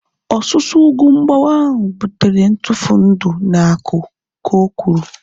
Ọsusu ugwu mgbawa ahu butere ntufu ndị na aku, ka o kwuru